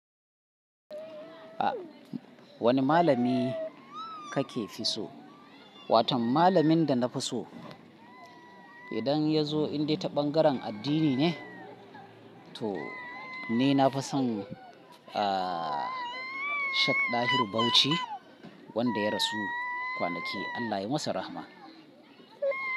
Wanne malami kake fi so? Watan malamin da na fi so, idan ya zo in dai ta ɓangaren addini ne, to ni na fi son, ah, Sheikh Dahiru Bauchi wanda ya rasu kwanaki, Allah ya yi masa rahma.